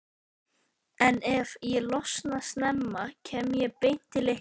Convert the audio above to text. en ef ég losna snemma kem ég beint til ykkar.